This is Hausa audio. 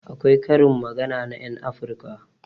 Akwai karin magana na ƴan afirka